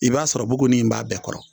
I b'a sɔrɔbuguni in b'a bɛɛ kɔrɔ